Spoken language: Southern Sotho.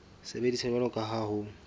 sebediswa jwalo ka ha ho